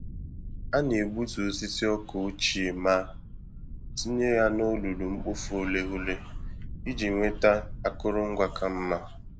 A na-egbutu osisi ọka ochie ma tinye ya na olulu-mkpofu-ureghure iji nweta akụrụngwa ka mma.